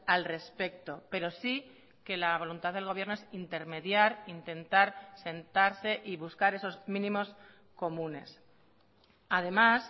al respecto pero sí que la voluntad del gobierno es intermediar intentar sentarse y buscar esos mínimos comunes además